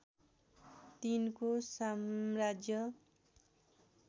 तिनको साम्राज्य